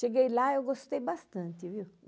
Cheguei lá e eu gostei bastante, viu?